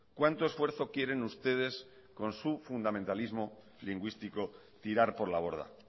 cuánto esfuerzo quieren ustedes con su fundamentalismo lingüístico tirar por la borda